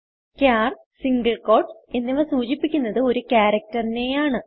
ചാർ single quotes എന്നിവ സൂചിപ്പിക്കുന്നത് ഒരു ക്യാരക്ടർ നെയാണ്